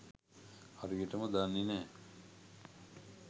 හරියටම දන්නෙ නෑ.